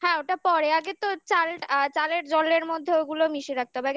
হ্যাঁ ওটা পরে আগে তো চালের জলের মধ্যে ঐগুলো মিশে রাখিতে হবে আগে